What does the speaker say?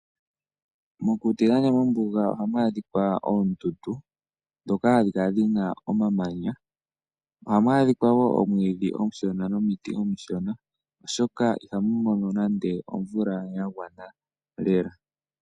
Mokuti nenge mombuga ohamu adhika oondundu ndhoka hadhi kala dhi na omamanya. Ohamu adhika wo omwiidhi omushona nomiti omishona, oshoka ihamu mono nande omvula ya gwana lela.